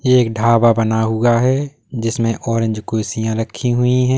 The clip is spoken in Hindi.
ये एक ढाबा बना हुआ है जिसमें ऑरेंज कुर्सियां रखी हुई हैं।